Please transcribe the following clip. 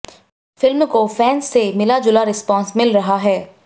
film को fans से मिला जुला रिस्पॉन्स मिल रहा है